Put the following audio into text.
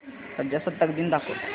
प्रजासत्ताक दिन दाखव